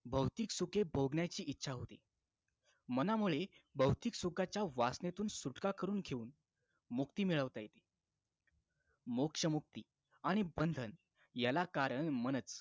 भौतिक सुखे भोगण्याची इच्छा होती मनामुळे भौतिक सुखाच्या वासनेतून सुटका करून घेऊन मुक्ती मिळवता येते मोक्ष मुक्ती आणि बंधन याला कारण मनच